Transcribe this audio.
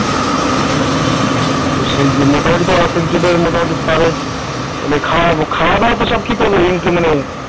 সেই মোটামুটি ধরে এখন জনের per head খাওয়া-দাওয়া তো সব